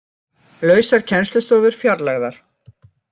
Lausar kennslustofur fjarlægðar